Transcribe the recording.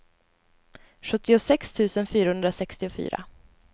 sjuttiosex tusen fyrahundrasextiofyra